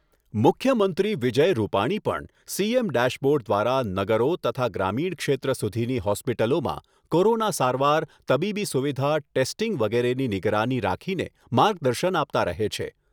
મુખ્યમંત્રી વિજય રૂપાણી પણ CM dashboard દ્વારા નગરો તથા ગ્રામિણ ક્ષેત્ર સુધીની હોસ્પિટલોમાં કોરોના સારવાર તબીબી સુવિધા ટેસ્ટીંગ વગેરેની નિગરાની રાખીને માર્ગદર્શન આપતા રહે છે